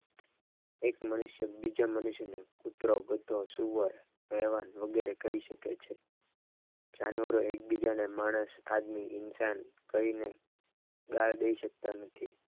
એક મનુષ્ય બીજા મનુષ્યને કૂતરો ગધેડો સુવર વગેરે કહી શકે છ જાનવરોને જાનવરો એકબીજાને માણસ આદમી ઇન્સાન કહીને ગાળ દઈ શકતા નથી.